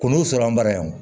K'u n'u sɔrɔ an bara yan